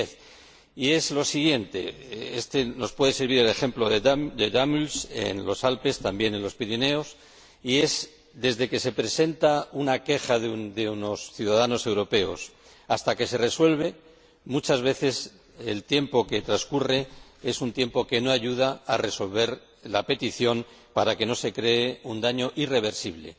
2010. Es lo siguiente ―nos puede servir el ejemplo de Damüls en los Alpes, también el de los Pirineos― desde que se presenta una queja de unos ciudadanos europeos hasta que se resuelve, muchas veces el tiempo que transcurre es un tiempo que no ayuda a resolver la petición para que no se cree un daño irreversible.